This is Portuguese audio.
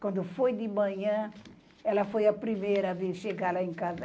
Quando foi de manhã, ela foi a primeira a vir chegar lá em casa.